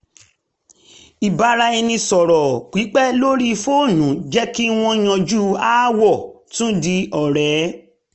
ìbáraẹnisọ̀rọ̀ pípẹ́ lórí fóònù jẹ́ kí wọ́n yanjú aáwọ̀ tún di ọ̀rẹ́